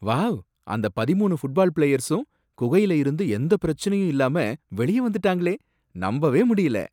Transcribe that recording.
Wow! அந்த பதிமூணு football பிளேயர்ஸும் குகையில இருந்து எந்தப் பிரச்சனையும் இல்லாம வெளிய வந்துட்டாங்களே, நம்பவே முடியல